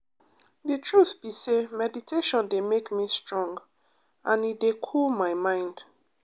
the truth be say meditation dey make me strong and e dey cool my mind